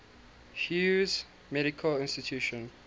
hughes medical institute